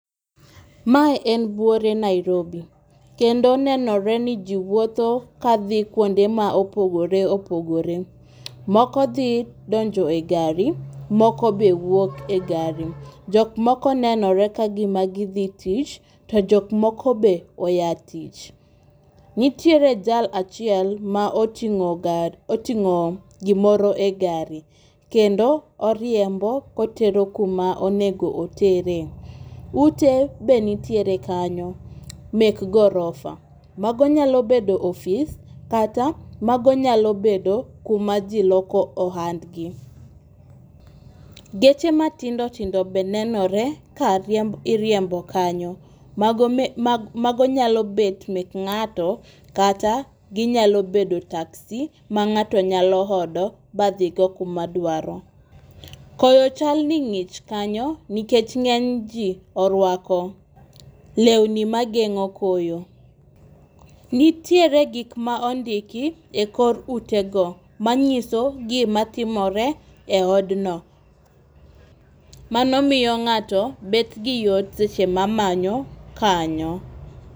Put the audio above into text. Mae en buore Nairobi ekdno nenore ni jii wuotho kadhi kuonde ma opogore opogore. Moko dhi donjo e gari, moko be wuok e gari. Jok moko nenore ka gima gidhi tich to jok moko be oya tich. Nitiere jal achiel ma oting'o gar oting'o gimoro e gari kendo oriembo otero kuma onego otere. Ute be nitiere kanyo mek gorofa, mago nyalo bedo ofis kata mago nyalo bedo kuma jii loko ohandgi. Geche matindo tindo be nenore ka riemb iriembo kanyo. Mago nyalo bet mek ng'ato kata ginyalo bet taxi ma ng'ato nyalo odo ma dhigo kuma dwaro. Koyo chal ni ng'ich kanyo nikech ng'eny jii orwako lewni mageng'o koyo .Nitiere gik ma ondiki e kor utego manyiso gima timore e odno . Mano miyo ng'ato bet gi yot seche ma manyo kanyo.